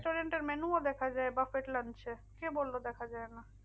Restaurant এর menu ও দেখা যায় buffet lunch এ। কে বললো দেখা যায় না?